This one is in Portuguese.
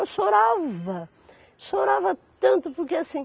Eu chorava, chorava tanto porque assim,